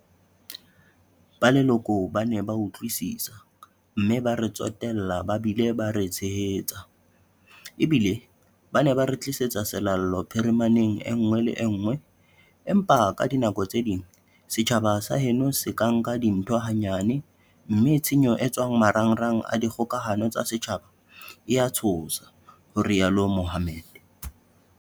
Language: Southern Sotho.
Ba leloko ba ne ba utlwisisa, mme ba re tsotella ba bile ba re tshehetsa, ebile ba ne ba re tlisetsa selallo phirimaneng en-ngwe le enngwe, empa ka dinako tse ding setjhaba sa heno se ka nka dintho hanyane mme tshenyo e etswang ho marangrang a dikgoka-hano tsa setjhaba e a tshosa, ho rialo Mohammed.